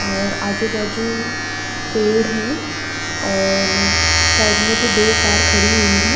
और आजू बाजू पेड़ है और साइड में भी दो कार खड़ी हुई हैं।